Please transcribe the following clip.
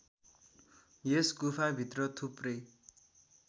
यस गुफाभित्र थुप्रै